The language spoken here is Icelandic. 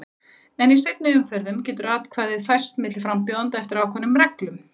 En í seinni umferðum getur atkvæðið færst milli frambjóðenda eftir ákveðnum reglum.